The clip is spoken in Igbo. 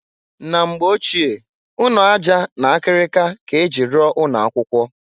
Na mgbe ochie, ụnọ aja na akịrịka k'e ji rụọ ụnọ akwụkwọ.